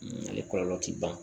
ale kɔlɔlɔ ti ban